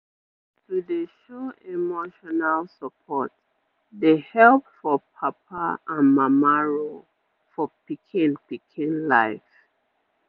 to dey show emotional support dey help for papa and mama role for pikin pikin life